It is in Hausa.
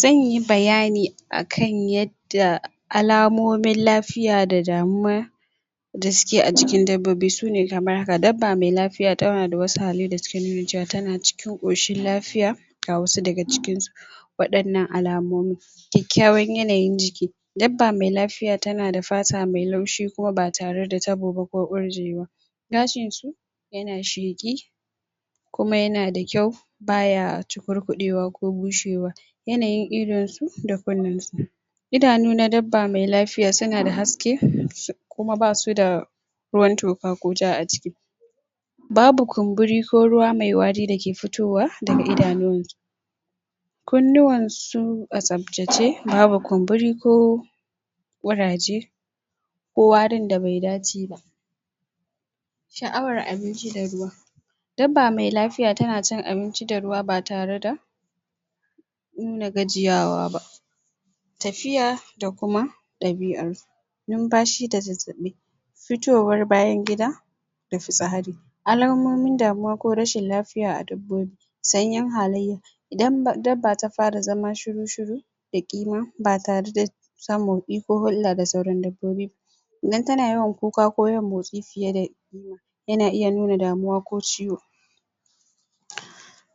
zanyi bayani akan yadda alamomin lafiya da suke ajikin dabbobi sune kamar haka, dabba mai lafiya tanada wasu halai da suke nufin cewa cikin koshun lafiya lafiya ga wasu daga cikin wadannan alamomi kyakyawan yanayin jiki dabba mai lafiya tanada fata mai laushi Kuma ba tareda tabo ko ƙurjewa gashin shi yana sheƙi Kuma yanada kyau baya cukurkuɗewa ko bushewa yanayin idonsu da kunnensu idanun dabba mai lafiya sunada haske kuma basuda ruwan toka ko ja aciki babu kumburi ko ruwa mai wari dake fitowa daga idanuwansu kunnuwansu a tsaftace babu kumburi ko kuraje ko warinda Bai dace shaʼawar abinci da ruwa daba mai lafiya tana cin abinci da ruwa ba tareda nuna gajiyawa bah tafiya da kuma dabi'ansu numfashi da zazzabi fitowar bayan gida da fitsari alamomin damuwa ko rashin lafiya a dabbobi Sanyin halayya Idan dabba ta fara zama shiru shiru da ƙima ba tareda samun hulda da sauran dabbobi ba Idan tana yawan kuka ko yawan motsi fiyeda yana iya nuna damuwa ko ciwo